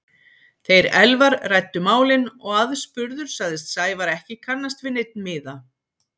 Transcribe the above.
Þeir Elvar ræddu málin og aðspurður sagðist Sævar ekki kannast við neinn miða.